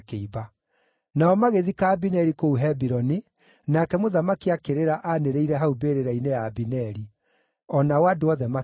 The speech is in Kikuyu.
Nao magĩthika Abineri kũu Hebironi, nake mũthamaki akĩrĩra aanĩrĩire hau mbĩrĩra-inĩ ya Abineri. O nao andũ othe makĩrĩra.